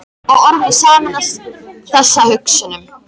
Og orð mín sameinast þessum hugsunum.